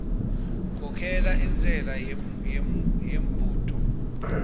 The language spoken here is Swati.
khokhela intshela yembudo